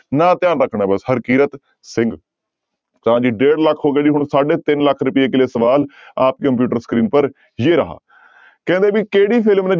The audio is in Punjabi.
ਨਾਂ ਧਿਆਨ ਰੱਖਣਾ ਹੈ ਬਸ ਹਰਕਿਰਤ ਸਿੰਘ ਤਾਂ ਜੀ ਡੇਢ ਲੱਖ ਹੋ ਗਿਆ ਜੀ ਹੁਣ ਸਾਢੇ ਤਿੰਨ ਲੱਖ ਰੁਪਏ ਕੇ ਲੀਏ ਸਵਾਲ ਆਪ ਕੀ computer screen ਪਰ ਜੇ ਰਹਾ ਕਹਿੰਦੇ ਵੀ ਕਿਹੜੀ